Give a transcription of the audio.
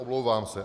Omlouvám se.